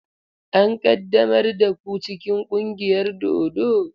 An ƙaddamar da ku cikin ƙungiyar dodo?